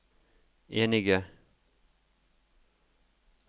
enige